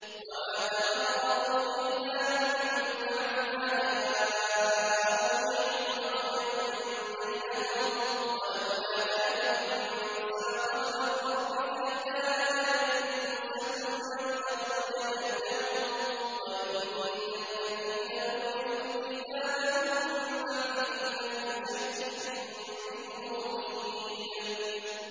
وَمَا تَفَرَّقُوا إِلَّا مِن بَعْدِ مَا جَاءَهُمُ الْعِلْمُ بَغْيًا بَيْنَهُمْ ۚ وَلَوْلَا كَلِمَةٌ سَبَقَتْ مِن رَّبِّكَ إِلَىٰ أَجَلٍ مُّسَمًّى لَّقُضِيَ بَيْنَهُمْ ۚ وَإِنَّ الَّذِينَ أُورِثُوا الْكِتَابَ مِن بَعْدِهِمْ لَفِي شَكٍّ مِّنْهُ مُرِيبٍ